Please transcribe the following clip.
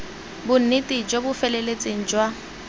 bonnete jo bo feletseng jwa